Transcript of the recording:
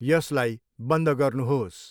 यसलाई बन्द गर्नु्होस्।